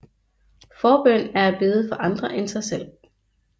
Forbøn er at bede for andre end sig selv